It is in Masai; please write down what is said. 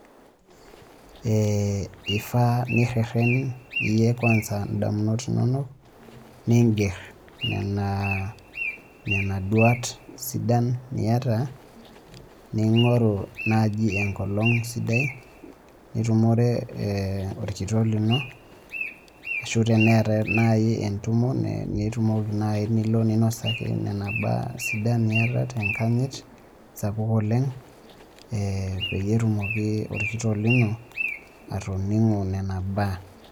Ifaa nirrerren iyie kwansa indamunot inonok, niger nena duat sidan niata ning'oru naji enkolong sidai, nitumore orkitok lino, ashu teneetae nai entumo nitumoki nai nilo ninosaki nena baa sidan niata tenkanyit sapuk oleng, peyie etumoki orkitok lino atoning'u nena baa.